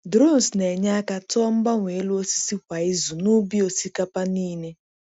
Drones na-enye aka tụọ mgbanwe elu osisi kwa izu n’ubi osikapa niile.